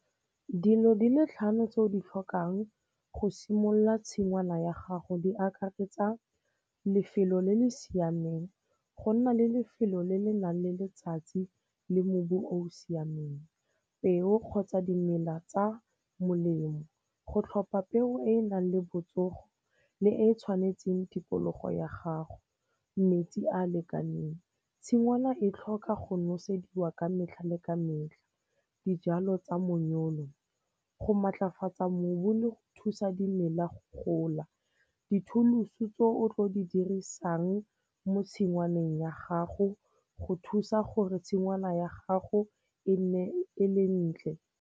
Dilo di le tlhano tse o di tlhokang go simolola tshingwana ya gago di akaretsa lefelo le le siameng, go nna le lefelo le le nang le letsatsi le mobu o o siameng. Peo kgotsa dimela tsa molemo, go tlhopha peo e e nang le botsogo le e e tshwanetseng tikologo ya gago. Metsi a a lekaneng, tshingwana e tlhoka go nosediwa ka metlha le ka metlha. Dijalo tsa monyolo, go maatlafatsa mobu le go thusa dimela go gola. Dithuluso tse o tlo di dirisang mo tshingwaneng ya gago go thusa gore tshingwana ya gago e nne e le ntle.